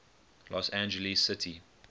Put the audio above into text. los angeles city